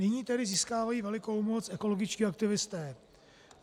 Nyní tedy získávají velikou moc ekologičtí aktivisté.